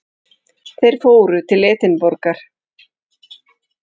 Þeir fóru til Edinborgar.